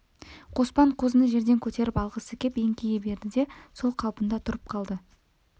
қоспан қозыны жерден көтеріп алғысы кеп еңкейе берді де сол қалпында тұрып қалды